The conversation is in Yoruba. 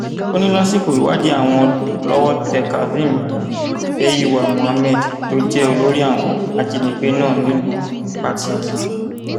ó ní lásìkò ìwádìí àwọn lọwọ tẹ kazeem beiwa mohammed tó jẹ olórí àwọn ajìnígbé náà nílùú patigi